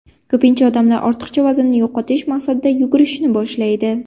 Ko‘pincha odamlar ortiqcha vaznni yo‘qotish maqsadida yugurishni boshlaydi.